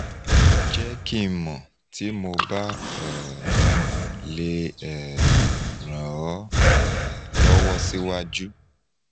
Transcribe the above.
jẹ ki n mọ ti mo ba um le um ran ọ um lọwọ siwaju